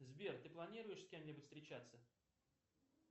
сбер ты планируешь с кем нибудь встречаться